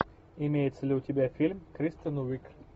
имеется ли у тебя фильм кристен уиг